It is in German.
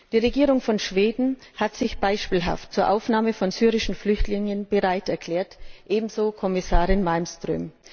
Die Regierung von Schweden hat sich beispielhaft zur Aufnahme von syrischen Flüchtlingen bereiterklärt, ebenso Kommissarin Malmström.